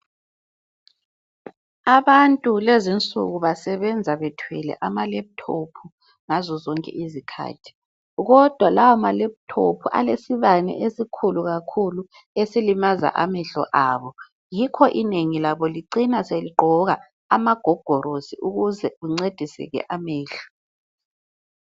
Abantu lezinsuku basebenza bethwele amalephuthophu ngazo zonke izikhathi. Kodwa lawa malephuthophu alesibane esikhulu kakhulu ezilimaza amehlo abo. Yikho inengi labo licina seligqoka amagogolosi ukuze kuncedise amehlo.